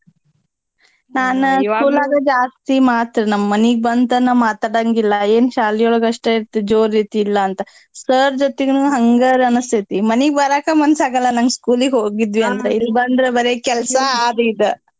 ಜಾಸ್ತಿ ಮಾತ್ರಿ ನಮ್ ಮನೀಗ್ ಬಂದ್ ತನ ಮಾತಾಡಂಗಿಲ್ಲಾ ಏನ್ ಶಾಲೀಯೊಳಗ್ ಅಷ್ಟೇ ಇರ್ತಿ ಜೋರ್ ಇರ್ತಿ ಇಲ್ಲಾಂತ sir ಜೊತಿಗುನೂ ಹಂಗರಿ ಅನ್ಸ್ತೇತಿ ಮನೀಗ್ ಬರಾಕ ಮನ್ಸಾಗಲ್ಲಾ ನಂಗ್ school ಗ್ ಹೋಗಿದ್ವಿಯಂದ್ರ ಇಲ್ಲಿ ಬಂದ್ರ ಬರೆ ಕೆಲ್ಸ ಆದ್ ಇದ್.